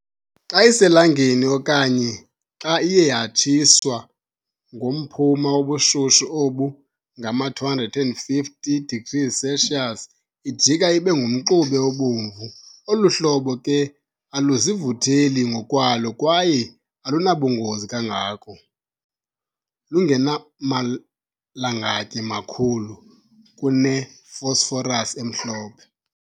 Xa iselangeni, okanye xa iye yatshiswa ngomphuna wobushushu obu ngama-250 degrees Celsius, ijika ibe ngumxube obomvu. Olu hlobo ke aluzivutheli ngokwalo kwaye alunabungozi kangako, lungenamalangatye makhulu kune-phosphorus emhlophe.